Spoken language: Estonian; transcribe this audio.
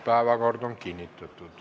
Päevakord on kinnitatud.